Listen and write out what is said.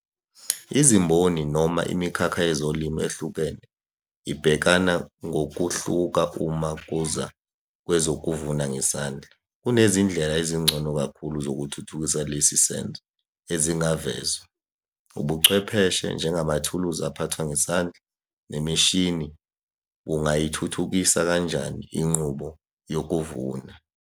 Izimboni noma Imikhakha yezolimo ehlukene, ibhekana ngokuhluka uma kuza kwezokuvuna ngesandla. Kunezindlela ezingcono kakhulu zokuthuthukisa lesi senzo ezingavezwa. Ubuchwepheshe njengamathuluzi aphathwa ngesandla nemishini, bungayithuthukisa kanjani inqubo yokuvuna.